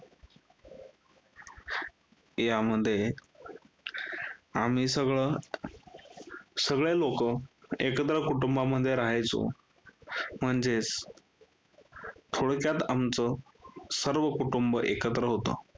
यामध्ये आम्ही सगळ सगळे लोकं एकत्र कुटुंबामध्ये राहायचो म्हणजेच थोडक्यात आमचं सर्व कुटुंब एकत्र होत.